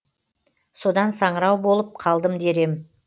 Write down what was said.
содан саңырау болып қалдым дер едім